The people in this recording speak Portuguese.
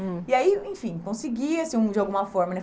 Hum. E aí, enfim, consegui, assim, hum, de alguma forma, né?